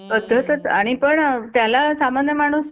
पद्धतच आणि पण त्याला सामान्य माणुस